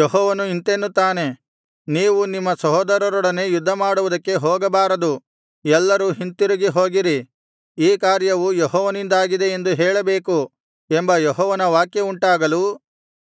ಯೆಹೋವನು ಇಂತೆನ್ನುತ್ತಾನೆ ನೀವು ನಿಮ್ಮ ಸಹೋದರರೊಡನೆ ಯುದ್ಧಮಾಡುವುದಕ್ಕೆ ಹೋಗಬಾರದು ಎಲ್ಲರೂ ಹಿಂತಿರುಗಿ ಹೋಗಿರಿ ಈ ಕಾರ್ಯವು ಯೆಹೋವನಿಂದಾಗಿದೆ ಎಂದು ಹೇಳಬೇಕು ಎಂಬ ಯೆಹೋವನ ವಾಕ್ಯವುಂಟಾಗಲು